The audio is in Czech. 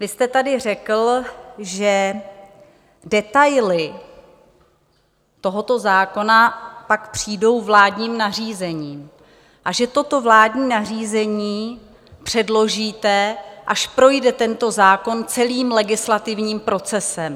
Vy jste tady řekl, že detaily tohoto zákona pak přijdou vládním nařízením a že toto vládní nařízení předložíte, až projde tento zákon celým legislativním procesem.